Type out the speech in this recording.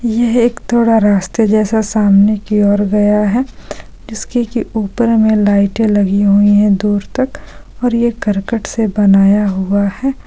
यह एक थोड़ा रास्ते जैसा सामने की ओर गया है जिसके की ऊपर में लाइटे लगी हुई है दूर तक और ये करकट से बनाया हुआ है।